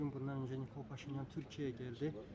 Bir neçə gün bundan öncə Nikol Paşinyan Türkiyəyə gəldi.